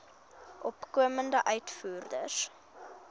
opkomende uitvoerders